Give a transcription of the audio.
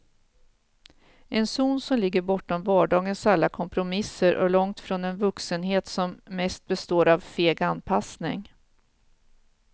En zon som ligger bortom vardagens alla kompromisser och långt från en vuxenhet som mest består av feg anpassning.